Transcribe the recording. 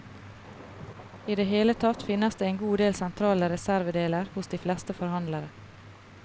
I det hele tatt finnes det en god del sentrale reservedeler hos de fleste forhandlere.